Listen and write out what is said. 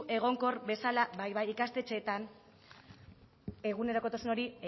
egonkor bezala ikastetxeetan egunerokotasun hori